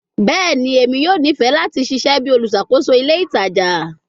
Bẹẹni, Emi yoo nifẹ lati ṣiṣẹ bi oluṣakoso ile itaja